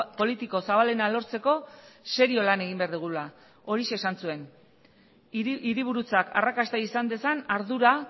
politiko zabalena lortzeko serio lan egin behar dugula horixe esan zuen hiriburutzak arrakasta izan dezan ardura